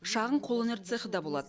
шағын қолөнер цехі да болады